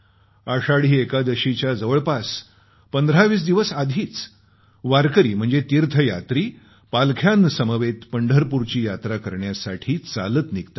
आषाढी एकादशीच्या जवळपास 1520 दिवस आधीच वारकरी म्हणजे तीर्थयात्री पालख्यांसमवेत पंढरपूरची यात्रा करण्यासाठी चालत निघतात